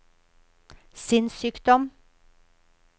sinnssykdom